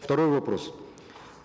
второй вопрос